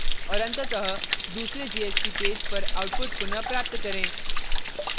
और अंततः दूसरे jsp पेज पर output पुनः प्राप्त करें